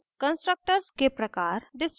constructors के प्रकार